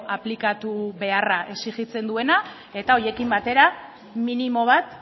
aplikatu beharra exijitzen duena eta horiekin batera minimo bat